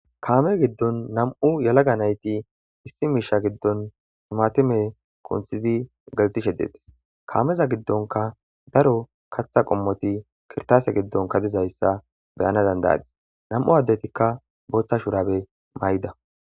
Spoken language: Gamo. kaame giddon nam7u yalaga nayti issi miisha giddon sumatime kunthidi galti sheddetis kaameza giddonka daro katha qommoti kirtaase giddonka dizayssa beyana dandayadis nam7u addetikka booththa shurabe may7ida.